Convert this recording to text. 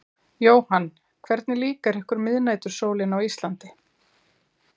Jóhann: Hvernig líkar ykkur miðnætursólin á Íslandi?